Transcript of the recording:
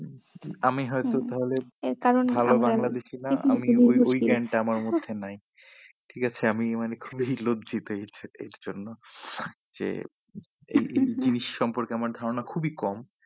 আমি হয়তো তাহলে ভালো বাংলাদেশি না আমি ওই জ্ঞানটা আমার মধ্যে নাই ঠিক আছে আমি মানে খুবই লজ্জিত এই এই জন্য যে এই জিনিস সম্পর্কে আমার ধারণা খুবই কম